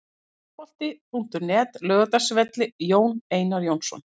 Fótbolti.net, Laugardalsvelli- Jón Einar Jónsson.